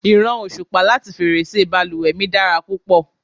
ìran osupa lati ferese baluwe mi dara púpọ̀